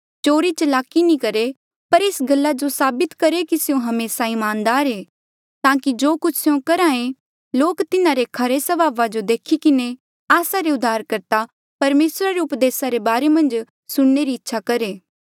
चोरी चलाकी नी करहे पर एस गल्ला जो साबित करहे कि स्यों हमेसा ईमानदार ऐें ताकि जो कुछ स्यों करहे लोक तिन्हारे खरे स्वभावा जो देखी किन्हें आस्सा रे उद्धारकर्ता परमेसरा रे उपदेसा रे बारे मन्झ सुणने री इच्छा करहे